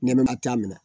Nɛmɛnɛmɛ t'a minɛ